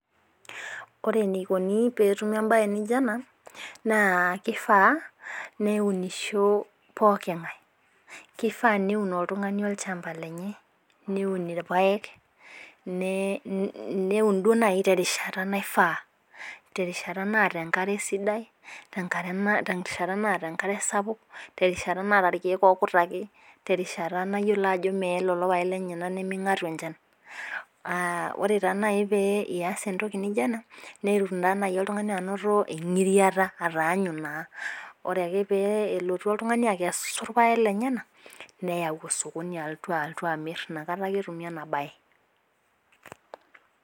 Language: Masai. Ore enikoni pee etumi ebae .naijo ena. naa kifaa neunisho pooki ng'ae. kifaa neun oltungani olchampa lenye. niun irpaek. niiun naaji terishata naifaa. terishata naata esidai. terishata naata enkare sapuk. terishata naata irkeek ookutaki. terishata mayiolo ajo meye lelo paek lenyenal. niminhatu enchan. ore taa naaji pee iyas entoki naijo ena, netum naa naji oltungani anoto engiriata. ataanyu naa ore ake peelotu oltungani aikesu ilpaek lenyenal. neyau osokoni alotu amir inakata ake etumi ena bae.